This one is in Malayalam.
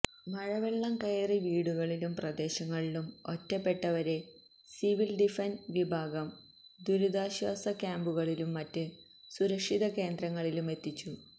മഴവെള്ളം കയറി വീടുകളിലും പ്രദേശങ്ങളിലും ഒറ്റപ്പെട്ടവരെ സിവില് ഡിഫന്സ് വിഭാഗം ദുരിതാശ്വാസ ക്യാമ്പുകളിലും മറ്റ് സുരക്ഷിത കേന്ദ്രങ്ങളിലുമെത്തിച്ചു